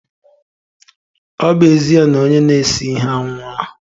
Ọ bụ ezie na onye na-ese ihe anwụọla